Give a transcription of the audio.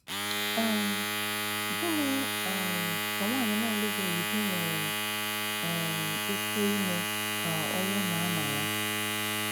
um Gịnị̀ um kà nwànyị̀ na-àlụbèghị di nwere um ìkè ìmè kà òwù na-àmà ya?